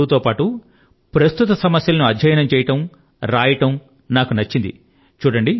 మీరు చదువు తో పాటు ప్రస్తుత సమస్యల ను అధ్యయనం చేయడం వ్రాస్తూ ఉండడం నాకు నచ్చాయి